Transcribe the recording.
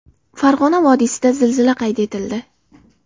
Farg‘ona vodiysida zilzila qayd etildi.